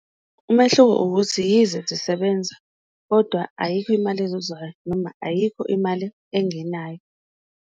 Umehluko ukuthi yize zisebenza kodwa ayikho imali ezuzwayo, noma ayikho imali engenayo.